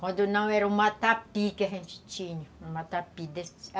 Quando não era o matapi que a gente tinha. O matapi